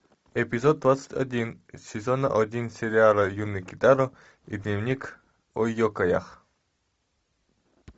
эпизод двадцать один сезон один сериала юный китаро и дневник о екаях